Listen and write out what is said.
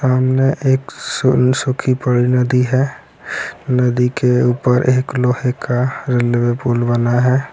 सामने एक सुन-सुखी पड़ी नदी है नदी के ऊपर एक लोहे का रेलवे पुल बना है।